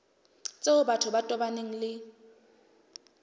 tseo batho ba tobaneng le